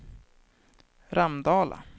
Ramdala